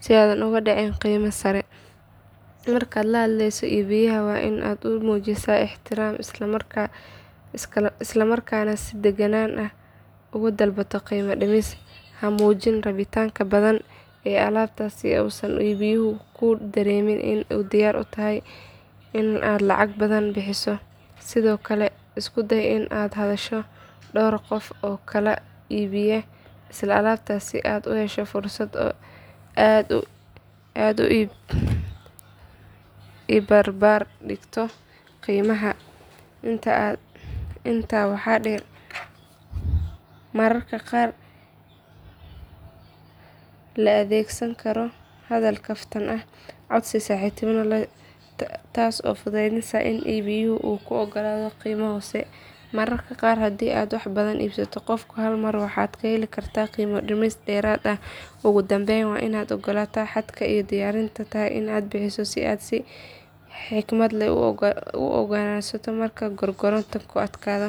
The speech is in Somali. si aadan ugu dhacin qiimo sare. Markaad la hadleyso iibiyaha waa in aad u muujisaa ixtiraam isla markaana si deggan uga dalbato qiimo dhimis. Ha muujin rabitaanka badan ee alaabta si uusan iibiyuhu kuu dareemin inaad diyaar u tahay in aad lacag badan bixiso. Sidoo kale isku day in aad la hadasho dhowr qof oo kala iibiya isla alaabta si aad u hesho fursad aad ku isbarbar dhigto qiimaha. Intaa waxaa dheer mararka qaar la adeegsan karo hadal kaftan ah ama codsi si saaxiibtinimo leh ah taasoo fududeysa in iibiyuhu kuu oggolaado qiimo hoose. Mararka qaar haddii aad wax badan ka iibsato qofka hal mar, waxaad heli kartaa qiimo dhimis dheeraad ah. Ugu dambeyn waa in aad ogaataa xadka aad diyaar u tahay in aad bixiso si aad si xikmad leh u go'aansato marka gorgortanku adkaado.